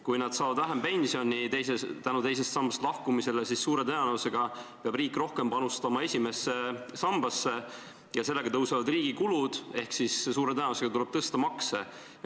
Kui nad saavad teisest sambast lahkumise tõttu vähem pensioni, siis suure tõenäosusega peab riik esimesse sambasse rohkem panustama ja riigi kulud kasvavad ehk suure tõenäosusega tuleb makse tõsta.